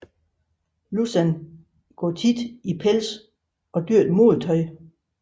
Lussan går ofte i pelse og dyrt modetøj